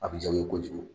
A bɛ ja u ye kojugu